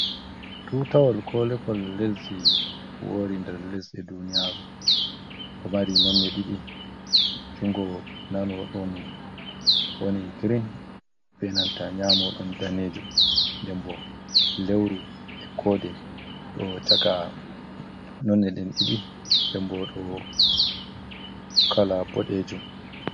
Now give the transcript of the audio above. Tutawol ko levol lesdi wori nder lesɗe duniya, ɗo mari ɗiɗi jungo nano ɗon woni grin, benanta nyamo ɗon ɗanejum. Dembo lewru e kode ɗo chaka nonde ɗen ɗiɗi den bo ɗo kala boɗejum.